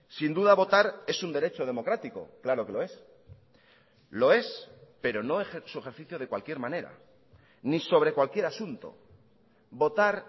sin duda votar es un derecho democrático claro que lo es lo es pero no su ejercicio de cualquier manera ni sobre cualquier asunto votar